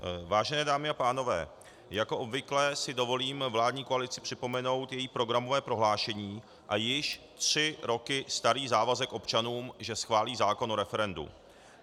Vážené dámy a pánové, jako obvykle si dovolím vládní koalici připomenout její programové prohlášení a již tři roky starý závazek občanům, že schválí zákon o referendu.